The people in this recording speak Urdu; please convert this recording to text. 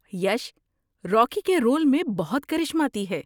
یش روکی کے رول میں بہت کرشماتی ہے۔